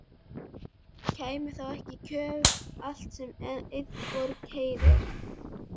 Kæmi þá ekki í kjölfarið allt sem einni borg heyrir?